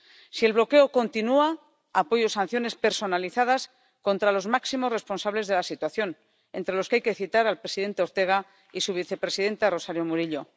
Si el bloqueo continúa, apoyo la imposición de sanciones personalizadas contra los máximos responsables de la situación, entre los que hay que citar al presidente Ortega y su vicepresidenta Rosario Murillo.